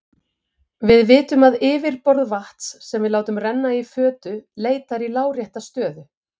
Við vitum að yfirborð vatns sem við látum renna í fötu leitar í lárétta stöðu.